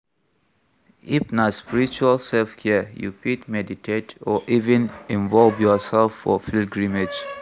If na spiritual selfcare, you fit meditate or even involve your self for pilgrimage